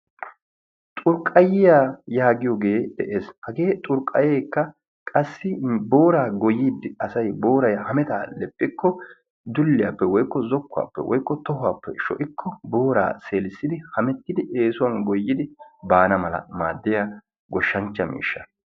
Xurqqayiya yaagiyoge des. hagee xurqayeekka booraa goyiidi booray hhamettaa ixxikko zokkuwaappe sho'ikko booraa seeliossidi hammetiidi eesuwan goyanawu baanawu maadiya goshancha miishsha.